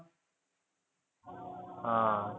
हा.